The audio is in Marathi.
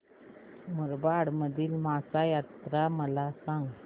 मुरबाड मधील म्हसा जत्रा मला सांग